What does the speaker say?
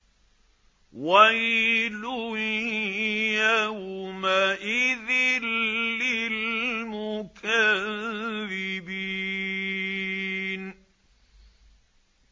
وَيْلٌ يَوْمَئِذٍ لِّلْمُكَذِّبِينَ